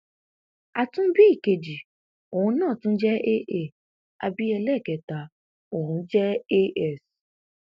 a tún bí ìkejì òun náà tún jẹ aa a bí ẹlẹẹkẹta òun jẹ as